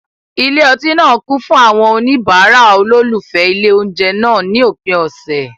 Ilé ọtí náà kún fún àwọn oníbàárà olólùfẹ́ ilé oúnjẹ náà ní òpin ọ̀sẹ̀.